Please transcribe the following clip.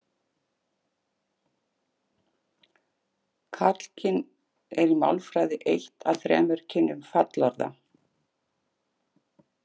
Karlkyn er í málfræði eitt af þremur kynjum fallorða.